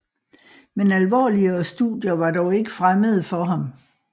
Men alvorligere studier var dog ikke fremmede for ham